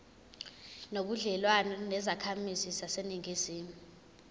nobudlelwane nezakhamizi zaseningizimu